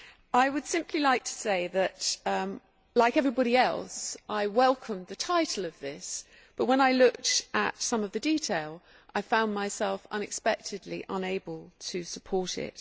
I would simply like to say that, like everybody else, I welcome the title of this, but when I looked at some of the detail I found myself unexpectedly unable to support it.